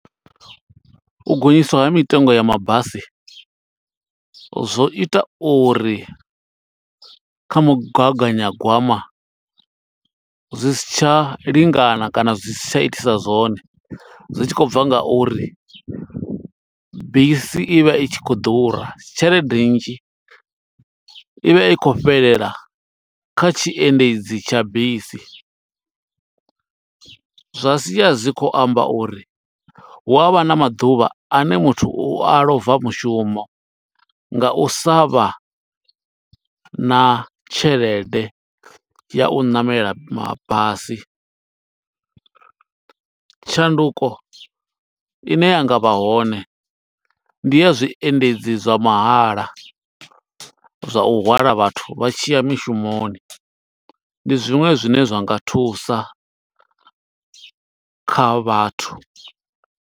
U gonyiswa ha mitengo ya mabasi, zwo ita uri kha mugaganyagwama zwi si tsha lingana kana zwi si tsha itisa zwone. Zwi tshi khou bva nga uri bisi i vha i tshi khou ḓura. Tshelede nnzhi i vha i khou fhelela kha tshiendedzi tsha bisi, zwa sia zwi khou amba uri hu avha na maḓuvha ane muthu u a ḽova mushumo, nga u sa vha na tshelede ya u ṋamela mabasi. Tshanduko ine yanga vha hone, ndi ya zwiendedzi zwa mahala zwa u hwala vhathu vha tshiya mushumoni. Ndi zwiṅwe zwine zwa nga thusa kha vhathu.